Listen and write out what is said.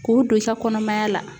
K'o don i ka kɔnɔmaya la